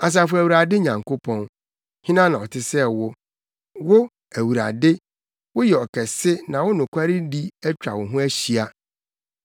Asafo Awurade Nyankopɔn, hena na ɔte sɛ wo? Wo, Awurade, woyɛ ɔkɛse na wo nokwaredi atwa wo ho ahyia.